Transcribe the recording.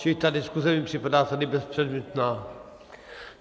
Čili ta diskuse mi připadá tady bezpředmětná.